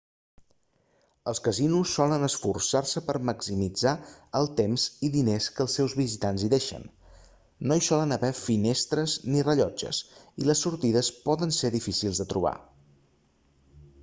els casinos solen esforçar-se per maximitzar el temps i diners que els seus visitants hi deixen no hi solen haver finestres ni rellotges i les sortides poden ser difícils de trobar